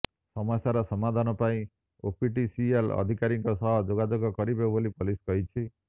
ସମସ୍ୟାର ସମାଧାନ ପାଇଁ ଓପିଟିସିଏଲ ଅଧିକାରୀଙ୍କ ସହ ଯୋଗାଯୋଗ କରିବେ ବୋଲି ପୋଲିସ କହିଛି